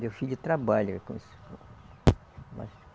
Meu filho trabalha com isso.